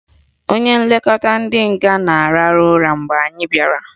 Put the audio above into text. Onye nlekọta ndị nga na-arahụ ụra mgbe anyị bịara